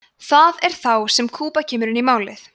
það er þá sem kúba kemur inn í málið